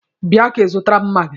Bia ka ị zụtara m maagi!